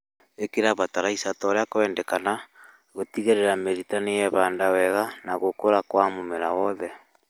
Ĩkĩra bataraitha torĩa kwendekana gutigĩrĩra mĩrita niyehanda wega na gũkũra gwa mũmera wothe